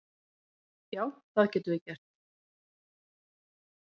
Já, það getum við gert.